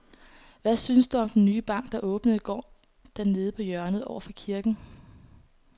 Hvad synes du om den nye bank, der åbnede i går dernede på hjørnet over for kirken?